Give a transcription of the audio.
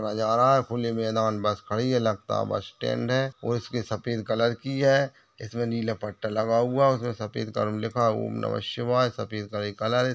नज़र आ रहा है खुली मैदान बस खड़ी है लगता है बस स्टैंड है और इसके सफ़ेद कलर की है इसमें नीला पट्टा लगा हुआ है उसमें सफ़ेद कलर लिखा है ॐ नमः शिवाय सफ़ेद करे कलर है।